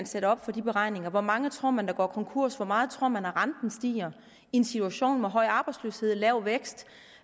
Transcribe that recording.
sætte op for de beregninger hvor mange tror man der går konkurs hvor meget tror man at renten stiger i en situation med høj arbejdsløshed og lav vækst